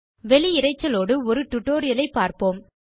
வெளி இரைச்சலோடு ஒரு டியூட்டோரியல் ஐப் பார்ப்போம்